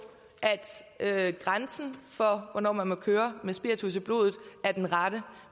at grænsen for hvornår man må køre med spiritus i blodet er den rette